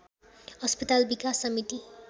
अस्पताल विकास समिति